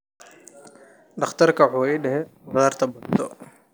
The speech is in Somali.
Daktarka muxu iidexe kudharta badso.